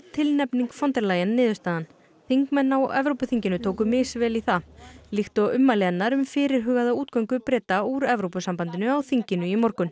tilnefning von der Leyen niðurstaðan þingmenn á Evrópuþinginu tóku misvel í það líkt og ummæli hennar um fyrirhugaða útgöngu Breta úr Evrópusambandinu á þinginu í morgun